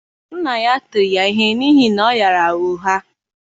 nna ya tiri ya ihe n’ihi na ọ ghaara ụgha.